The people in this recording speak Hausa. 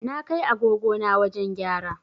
Na kai agogo na wajen gyara